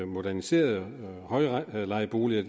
moderniserede højlejeboliger